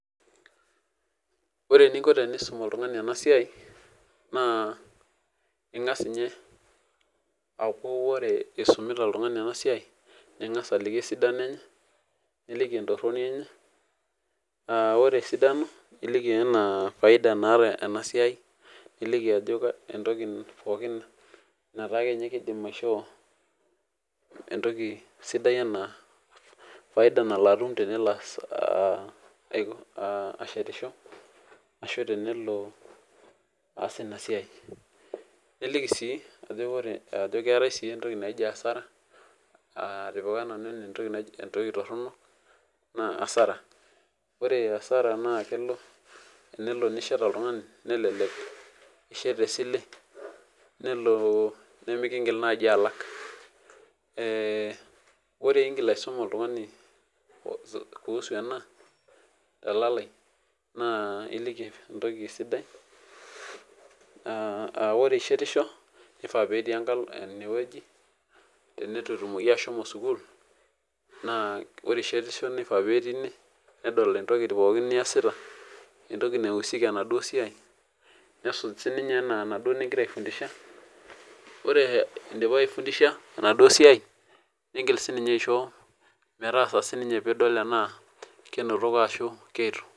Ore ininko tenisum oltungani ena siai naa, ingas ninye aaku ore isumita oltungani ena siai niliki esidano enye niliki entoroni enye, aa ore esidano iliki anaa faida naata ena siai niliki anaa ajo entoki pookin nataa akeninye keidim aishoo entoki sidai ena faida nalo atum sudai anaa tenelo ashetisho, ashu tenelo aas ina siai. Niliki sii ajo keetai sii entoki naji asara aaa atipika nanu ene entoki torono aaah asara. Ore asara naakelo tenelo nishet oltungani nishet tesile nelo nemikingil naaji alak. Ore ingira aisum oltungani kuusu ena telali naa iliki entokisidai aah ore ishetisho neifaa netii enkalo inewueji tenitu etumoki ashomo sukuul. Naa ore ishetisho neifaa pee etii ine nedol entoki pooki niasita, entoki nausika enaduo siai nesuj siininye anaa enaduo ningira aifundisha. Ore indipa aifundisha enaduo siai ningil siinye aisho metaasa siininye piidol tenaa kenotoko tena keitu